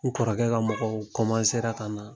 N kɔrɔkɛ ka mɔgɔw ka na.